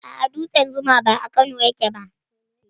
Aa, dutsen zuma ba a Kano yake ba